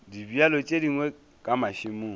dibjalo tše dingwe ka mašemong